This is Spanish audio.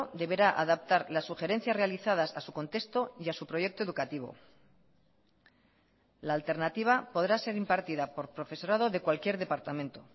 deberá adaptar las sugerencias realizadas a su contexto y a su proyecto educativo la alternativa podrá ser impartida por profesorado de cualquier departamento